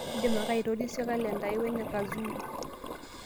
idim ake aitorisio kalenda aai wene Kazungu